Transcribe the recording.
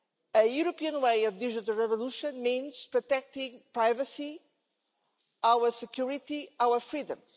A European way of digital revolution means protecting privacy, our security and our freedom.